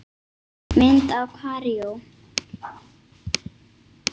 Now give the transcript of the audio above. Mynd af Kaíró